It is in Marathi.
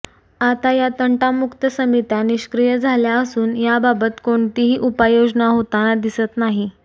आता या तंटामुक्त समित्या निष्क्रिय झाल्या असून याबाबत कोणतीही उपाययोजना होताना दिसत नाही